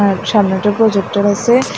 আর সামনে একটা প্রোজেক্টের আসে।